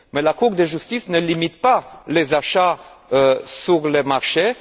Mais la Cour de justice ne limite pas les achats sur les marchés.